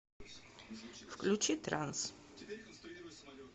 включи транс